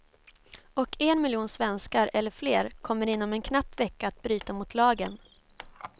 Och en miljon svenskar eller fler kommer inom en knapp vecka att bryta mot lagen.